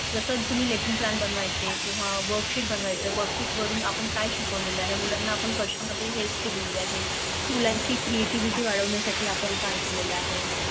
जस तुम्ही Lesson plan बनवायचे किंवा work sheet बनवायचं work sheet वरून आपण काय शिकवलं आहे मुलाना आपण कश्या मध्यें Help केले आहे मुलांची Creativity वाढविण्यासाठी पण काय केलेले आहे